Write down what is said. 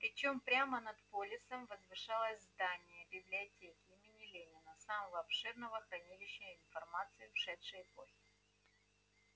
причём прямо над полисом возвышалось здание библиотеки имени ленина самого обширного хранилища информации ушедшей эпохи